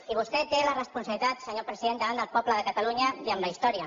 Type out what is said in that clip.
i vostè té la responsabilitat senyor president davant del poble de catalunya i amb la història